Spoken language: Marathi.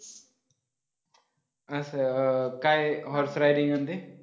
असं काय horse riding आणि ते